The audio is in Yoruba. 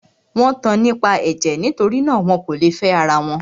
Wọ́n tan nípa ẹ̀jẹ̀; nitori náà, wọn kò lè fẹ́ ara wọn.